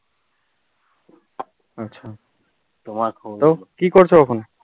তো কি করছো এখন?